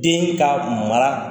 Den ka mara